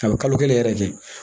A bɛ kalo kelen yɛrɛ kɛ